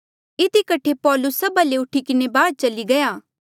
इधी कठे पौलुस सभा ले उठी किन्हें बाहर चली गया